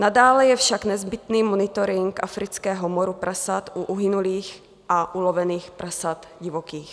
Nadále je však nezbytný monitoring afrického moru prasat u uhynulých a ulovených prasat divokých.